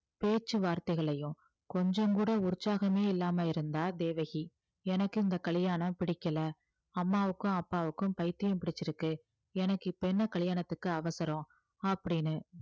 பேச்சு வார்த்தைகளையும் கொஞ்சம் கூட உற்சாகமே இல்லாம இருந்தா தேவகி எனக்கு இந்த கல்யாணம் பிடிக்கல அம்மாவுக்கும் அப்பாவுக்கும் பைத்தியம் பிடிச்சிருக்கு எனக்கு இப்ப என்ன கல்யாணத்துக்கு அவசரம் அப்படீன்னு